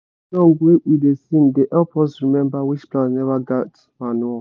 song wey we da sing da help us remember which plant never get manure